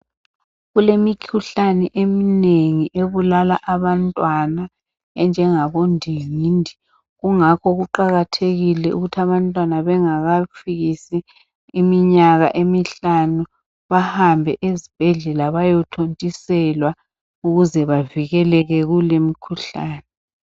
Kulemikhuhlane eminengi ebulala abantwana enjengabo ndingindi. Kungakho kuqakathekile ukuth' abantwana bengakafikisi iminyaka emihlanu bahambe ezibhedlela bayothontiselwa ukuze bavikeleke kul' imikhuhlane.